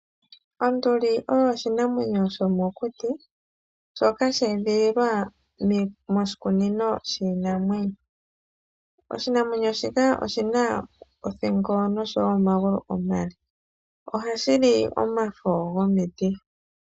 Onduli oyo oshinamwenyo sho mokuti shoka sha edhililwa moshikunino shiinamwenyo. Oshinamwenyo shika oshina othingo oshowo omagulu omale, ohashi li omafo gomiti.